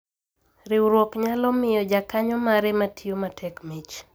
Riwruok nyalo miyo jakanyo mare matiyo matek mich